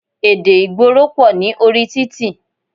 Èdè ìgboro pọ̀ ní orí títì.